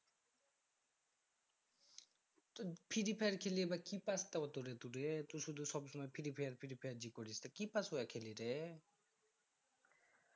তু free fire খেলে বা কি পাস তোআতুরে টুরে টু শুধু সবসময় free fire free fire যে করিস তা কি পাস্ অইয়া খেলে রে